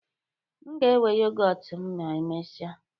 Nga ewe yọgọt m ma emesia